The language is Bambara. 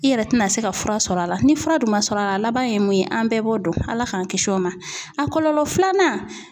I yɛrɛ tɛna se ka fura sɔrɔ a la ni fura dun ma sɔrɔ a la, a laban ye mun ye an bɛɛ b'o dɔn Ala k'an kisi o ma, a kɔlɔlɔ filanan